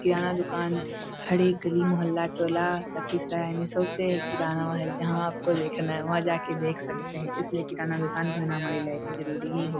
किराना दुकान हर एक गली मोहल्ला टोला लखीसराय में सबसे किराना वहां है जहाँ आपको देखना है वहां जा के देख सकते है इसलिए किराना दुकान भी हमारी लाइफ में होना जरूरी ही हो --